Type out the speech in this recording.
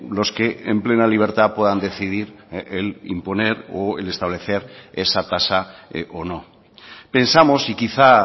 los que en plena libertad puedan decidir el imponer o establecer esa tasa o no pensamos y quizá